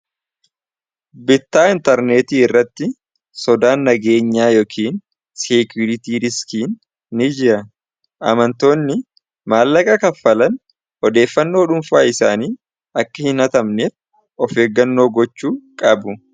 Bittaa intarneetii irratti sodaan nagaenyaa yookiin seekuritii riskiin ni jira. amantoonni maallaqa kaffalan odeeffannoo dhuunfaa isaanii akka hin hatamneef of eeggannoo gochuu qabu.